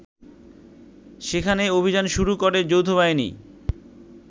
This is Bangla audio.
সেখানে অভিযান শুরু করে যৌথবাহিনী